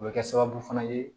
O bɛ kɛ sababu fana ye